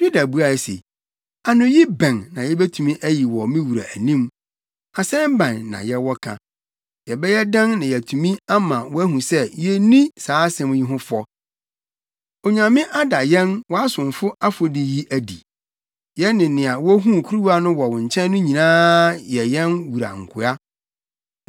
Yuda buae se, “Anoyi bɛn na yebetumi ayi wɔ me wura anim? Asɛm bɛn na yɛwɔ ka? Yɛbɛyɛ dɛn na yɛatumi ama woahu sɛ yenni saa asɛm yi ho fɔ? Onyame ada yɛn wʼasomfo afɔdi yi adi. Yɛne nea wohuu kuruwa no wɔ no nkyɛn no nyinaa yɛ yɛn wura nkoa.”